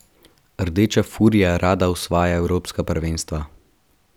Rdeča furija rada osvaja evropska prvenstva.